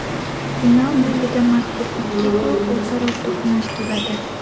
Final yo‘lida mazkur ikki klub o‘zaro to‘qnash keladi.